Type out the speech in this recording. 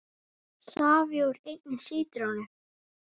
Safi úr einni sítrónu